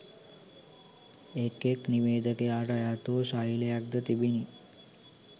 එක් එක් නිවේදක‍යාට අයත් වූ ශෛලයක්ද තිබුණි